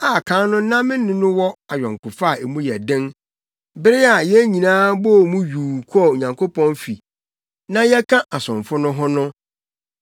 a kan no na me ne no wɔ ayɔnkofa a mu yɛ den bere a yɛn nyinaa bɔɔ mu yuu kɔɔ Onyankopɔn fi na yɛka asomfo no ho no.